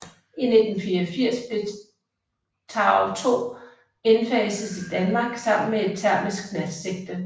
I 1984 blev TOW 2 indfaset i Danmark sammen med et termisk natsigte